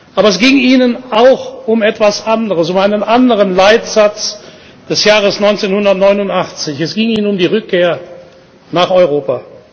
Aber es ging ihnen auch um etwas anderes, um einen anderen Leitsatz des Jahres 1989 Es ging ihnen um die Rückkehr nach Europa.